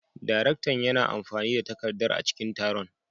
Daraktan yana amfani da takardar a cikin taron.